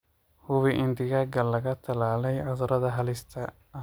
Hubi in digaaga laga tallaalay cudurrada halista ah.